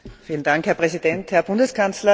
Herr Präsident, Herr Bundeskanzler!